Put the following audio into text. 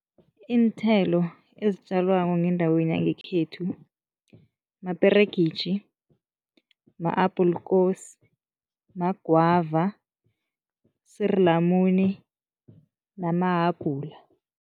Iinthelo ezitjalwako ngendaweni yangekhethu, maperegitjhi, ma-appelkoos, magwava, suur lamuni namahabhula.